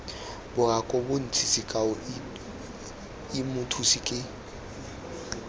bokaobontsi sekao i mothusi ke